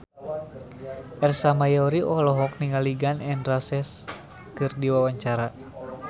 Ersa Mayori olohok ningali Gun N Roses keur diwawancara